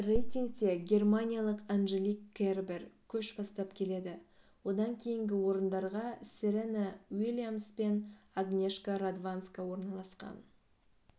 рейтингте германиялық анжелик кербер көш бастап келеді одан кейінгі орындарға серена уильямс пен агнешка радванска орналасқан